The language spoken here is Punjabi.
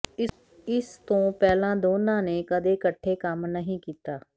ਇਸ ਤੋਂ ਪਹਿਲਾਂ ਦੋਨਾਂ ਨੇ ਕਦੇ ਇਕੱਠੇ ਕੰਮ ਨਹੀਂ ਕੀਤਾ